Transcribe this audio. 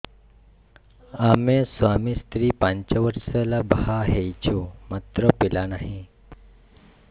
ଆମେ ସ୍ୱାମୀ ସ୍ତ୍ରୀ ପାଞ୍ଚ ବର୍ଷ ହେଲା ବାହା ହେଇଛୁ ମାତ୍ର ପିଲା ନାହିଁ